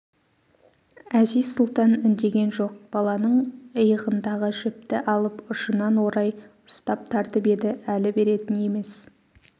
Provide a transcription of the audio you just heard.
әзиз-сұлтан үндеген жоқ баланың иығындағы жіпті алып ұшынан орай ұстап тартып еді әлі беретін емес